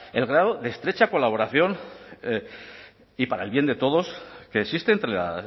el grado de estrecha colaboración y para el bien de todos que existe entre la